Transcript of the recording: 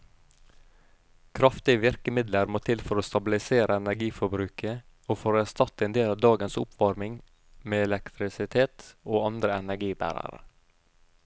Kraftige virkemidler må til for å stabilisere energiforbruket og for å erstatte en del av dagens oppvarming med elektrisitet og andre energibærere.